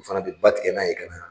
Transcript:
O fana bɛ ba tigɛ n'a ye ka na.